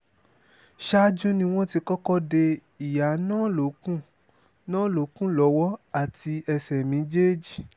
ṣáájú ni wọ́n ti kọ́kọ́ de ìyá náà lókun náà lókun lọ́wọ́ àti ẹsẹ méjèèjì